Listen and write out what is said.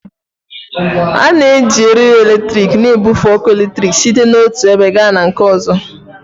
A na-eji eriri eletrik na-ebufe ọkụ eletrik site n'otu ebe gaa na nke ọzọ